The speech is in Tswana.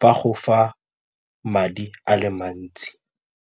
ba go fa madi a le mantsi.